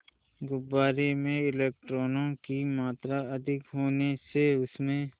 गुब्बारे में इलेक्ट्रॉनों की मात्रा अधिक होने से उसमें